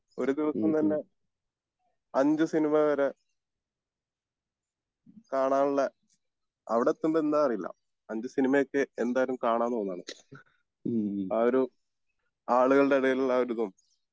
ഒരു ദിവസം തന്നെ അഞ്ച് സിനിമ വരെ കാണാനുള്ള അവിടെത്തുമ്പോ എന്താന്ന് അറിയില്ല അഞ്ച് സിനിമ ഒക്കെ എന്തായാലും കാണാൻ തോന്നാണ് ആ ഒരു ആളുകളുടെ ഇടയിലുള്ള ആ ഒരു ഇതും